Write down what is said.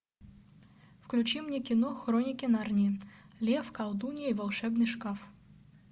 включи мне кино хроники нарнии лев колдунья и волшебный шкаф